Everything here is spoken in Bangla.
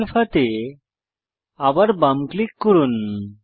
শো আলফা তে আবার বাম ক্লিক করুন